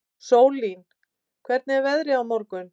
Sólín, hvernig er veðrið á morgun?